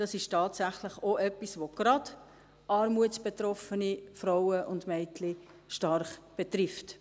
Das ist tatsächlich etwas, das gerade armutsbetroffene Frauen und Mädchen stark betrifft.